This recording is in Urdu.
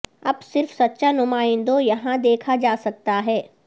اب صرف سچا نمائندوں یہاں دیکھا جا سکتا ہے